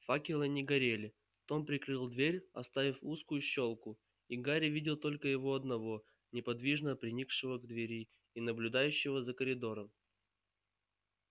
факелы не горели том прикрыл дверь оставив узкую щёлку и гарри видел только его одного неподвижно приникшего к двери и наблюдающего за коридором